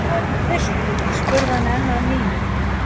Hvað viltu? spurði hann enn að nýju.